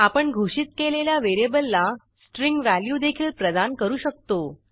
आपण घोषित केलेल्या व्हेरिएबलला स्ट्रिंग व्हॅल्यू देखील प्रदान करू शकतो